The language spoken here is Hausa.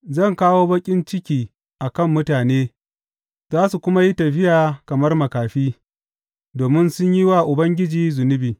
Zan kawo baƙin ciki a kan mutane za su kuma yi tafiya kamar makafi, domin sun yi wa Ubangiji zunubi.